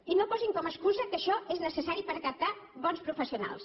i no posin com a excusa que això és necessari per captar bons professionals